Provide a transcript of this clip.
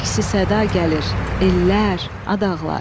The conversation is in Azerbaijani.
Əksi səda gəlir, ellər, ad ağlar.